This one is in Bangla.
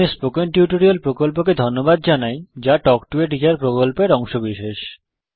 আমি স্পোকেন টিউটোরিয়াল প্রকল্পকে ধন্যবাদ জানাই যা তাল্ক টো a টিচার প্রকল্পের অংশবিশেষ